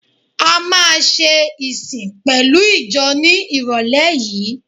A máa ṣe ìsìn pẹ̀lú ìjọ ní ìrọ̀lé yìí.